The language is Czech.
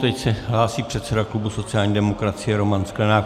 Teď se hlásí předseda klubu sociální demokracie Roman Sklenák.